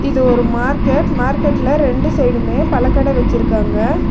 இது ஒரு மார்க்கெட் . மார்க்கெட்ல ரெண்டு சைடுமே பழக்கட வெச்சிருக்காங்க.